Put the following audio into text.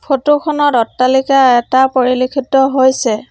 ফটোখনত অট্টালিকা এটা পৰিলক্ষিত হৈছে।